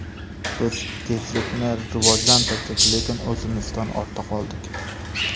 Biz tezlikni rivojlantirdik, lekin o‘zimizdan ortda qoldik.